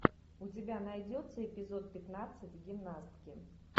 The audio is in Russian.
у тебя найдется эпизод пятнадцать гимнастки